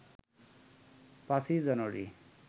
৫ই জানুয়ারী